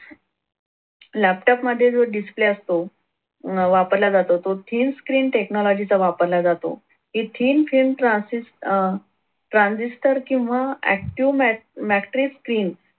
laptop मध्ये जो display असतो वापरला जातो तो thin screentechnology चा वापरला जातो. ही thin screen transcribe uh tranzister किंवा active matric screen